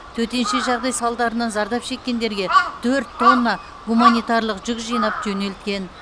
төтенше жағдай салдарынан зардап шеккендерге төрт тонна гуманитарлық жүк жинап жөнелткен